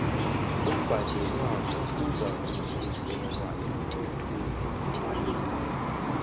obhadelwako uzakususelwa emthelweni